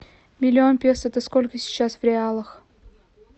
миллион песо это сколько сейчас в реалах